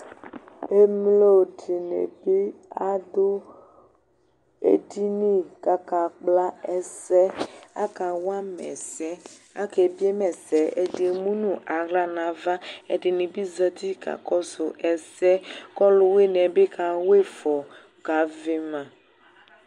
Emlodinibi adʊ edini kakakpla ɛsɛ Akawama ɛsɛ Ake biema ɛsɛ Ɛdi emu nuaɣla nava Ɛdinibi zǝti ka kɔsʊ ɛsɛ Kɔlʊwiniɛbɩ kawɩfɔ kavɩma